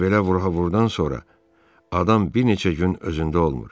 Çünki belə vura-vurdan sonra adam bir neçə gün özündə olmur.